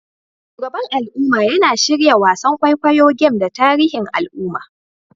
Shugaban al'umma yana shirya wasan kwaikwayo game da tarihin al'umma